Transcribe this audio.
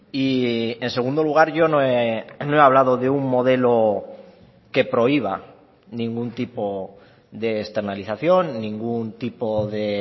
y en segundo lugar yo no he hablado de un modelo que prohíba ningún tipo de externalización ningún tipo de